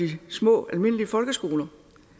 de små almindelige folkeskoler